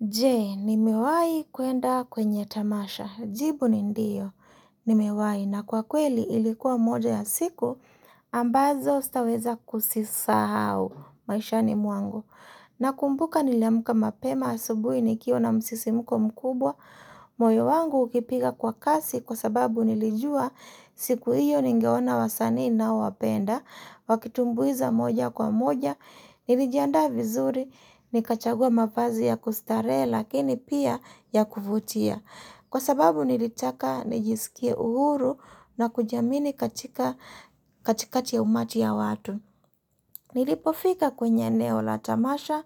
Je, nimewahi kuenda kwenye tamasha, jibu nindiyo, nimewahi, na kwa kweli ilikuwa moja ya siku, ambazo staweza kusisa hau, maisha ni mwangu. Na kumbuka niliamka mapema asubuhi nikiwa na msisimuko mkubwa, moyo wangu ukipiga kwa kasi kwa sababu nilijua siku hiyo ningeona wasani naowapenda, wakitumbuiza moja kwa moja, nilijanda vizuri, nikachagua mapazi ya kustarehe lakini pia ya kuvutia. Kwa sababu nilitaka nijisikie uhuru na kujiamini katikakatikati umati ya watu. Nilipofika kwenye eneola tamasha,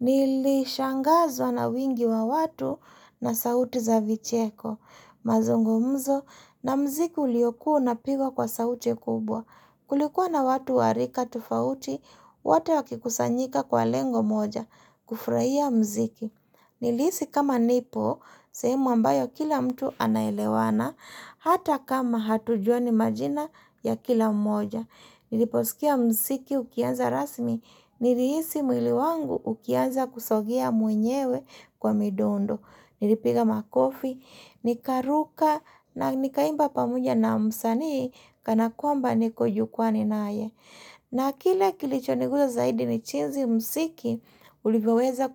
nilishangazwa na wingi wa watu na sauti za vicheko, mazungo mzo, na mziki uliokuo na pigwa kwa sauti ya kubwa. Kulikuwa na watu warika tofauti, wote wakikusanyika kwa lengo moja, kufuraia mziki. Nilihisi kama nipo, sehemu ambayo kila mtu anaelewana, hata kama hatujua ni majina ya kila mmoja. Niliposikia msiki ukianza rasmi, nilihisi mwili wangu ukianza kusogea mwenyewe kwa midondo. Nilipiga makofi, nika ruka na nikaimba pamoja na msani kana kuamba niko jukwani naaye. Na kile kilichoniguza zaidi ni chizi msiki uliveweza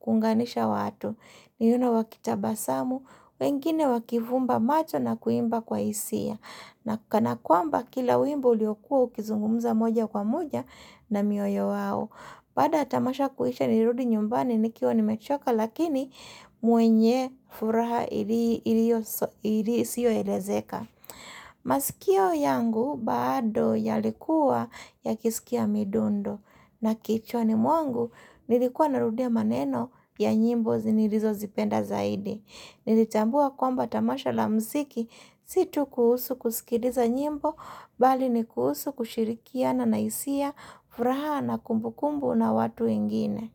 kunganisha watu. Niuno wakitabasamu, wengine wakivumba macho na kuimba kwa hisia. Na kanakuamba kila uimbo uliokua ukizungumuza moja kwa moja na mioyo wawo. Badaya tamasha kuhisha nirudi nyumbani nikiwa ni mechoka lakini muenye furaha ili siyo elezeka. Masikio yangu baado ya likuwa ya kisikia midundo na kichwani mwangu nilikuwa narudia maneno ya nyimbo zinirizo zipenda zaidi Nilitambua kwamba tamasha la mziki situ kuhusu kusikidiza nyimbo Bali ni kuhusu kushirikiana naisia furaha na kumbu kumbu na watu wengine.